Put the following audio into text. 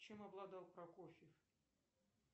чем обладал прокофьев